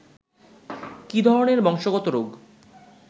কী ধরনের বংশগত রোগ